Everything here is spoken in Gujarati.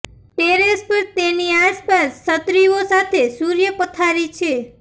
ટેરેસ પર તેની આસપાસ છત્રીઓ સાથે સૂર્ય પથારી છે